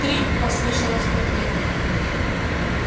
три послышалось в ответ